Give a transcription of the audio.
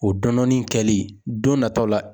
O dɔndɔnni kɛli don nataw la.